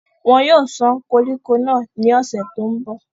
wọn yóò sán koríko náà ní ọ̀sẹ̀ tó ń bọ̀